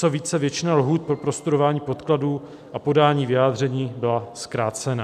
Co více, většina lhůt pro prostudování podkladů a podání vyjádření byla zkrácena."